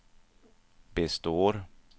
består